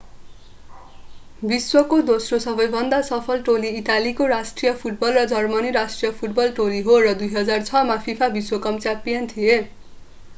विश्वको दोस्रो सबैभन्दा सफल टोली इटालीको राष्ट्रिय फुटबल र जर्मन राष्ट्रिय फुटबल टोली हो र 2006 मा फिफा विश्व कप च्याम्पियन थिए